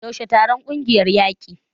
Yaushe taron kungiyar yake?